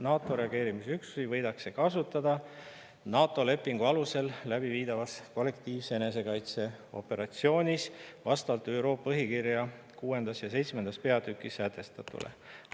NATO reageerimisüksusi võidakse kasutada NATO lepingu alusel läbiviidavas kollektiivse enesekaitse operatsioonis vastavalt ÜRO põhikirja VI ja VII peatükis sätestatule.